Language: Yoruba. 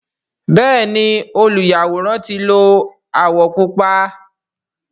Bẹẹni oluyaworan ti lo awọ pupa.